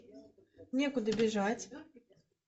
некуда бежать